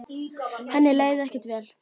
Henni leið ekkert vel.